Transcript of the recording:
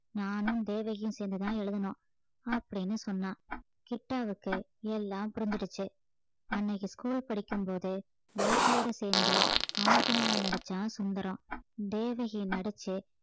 நானும் தேவகியும் சேர்ந்துதான் எழுதினோம் அப்படின்னு சொன்னான் கிட்டாவுக்கு எல்லாம் புரிஞ்சிடுச்சு அன்னைக்கு school படிக்கும்போது வைத்தியோட சேர்ந்து அமுக்கனையா நடிச்சான் சுந்தரம் தேவகியை நடிச்சு